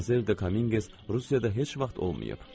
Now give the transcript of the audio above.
Madmazel Dominqez Rusiyada heç vaxt olmayıb.